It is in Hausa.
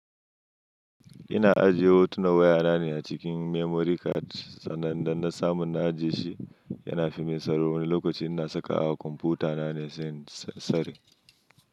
Ina ajiye hotunan wayana ne a cikin memory card, sannan idan na samu na ajiye shi, yana fi min tsaro wani lokaci ina saka wa kwamfutana ne sai in tsare.